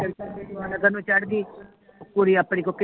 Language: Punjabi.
ਨੂੰ ਚੜ੍ਹਗੀ ਕੁੜੀ ਆਪਣੀ ਕੋ ਕੀਨੀ